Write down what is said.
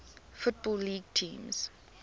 football league teams